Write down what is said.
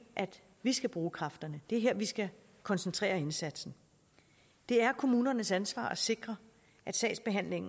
at vi skal bruge kræfterne det er her vi skal koncentrere indsatsen det er kommunernes ansvar at sikre at sagsbehandlingen